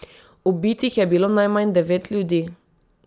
Ubitih je bilo najmanj devet ljudi.